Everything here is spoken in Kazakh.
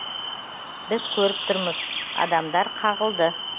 біз көріп тұрмыз адамдар қағылды